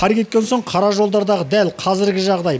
қар кеткен соң қара жолдардағы дәл қазіргі жағдай